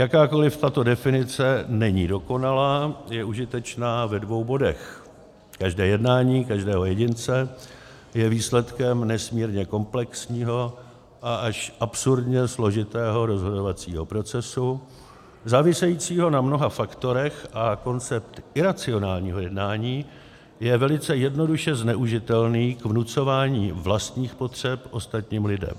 Jakkoliv tato definice není dokonalá, je užitečná ve dvou bodech - každé jednání každého jedince je výsledkem nesmírně komplexního a až absurdně složitého rozhodovacího procesu závisejícího na mnoha faktorech a koncept iracionálního jednání je velice jednoduše zneužitelný k vnucování vlastních potřeb ostatním lidem.